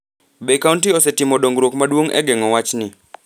Be kaonti osetimo dongruok maduong’ e geng’o wachni,